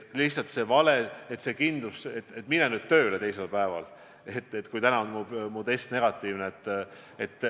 Lihtsalt, ma arvan, et on vale öelda, et mine teisel päeval tööle, kui täna on mu test negatiivne.